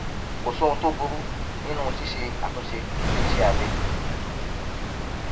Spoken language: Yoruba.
kò sóhun tó burú nínú ṣíṣe àtúnṣe sí iṣẹ abẹ